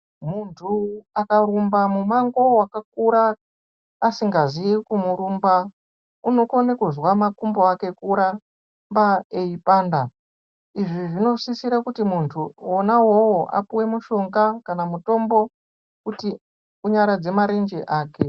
Muntu akarumba mumango wakakura asingazii kumurumba unokona kuzwa makumbo ake kuramba eipanda izvi zvinosisira kuti muntu wonawowo apuwe mushonga kana mutombo kuti unyaradze marenje ake .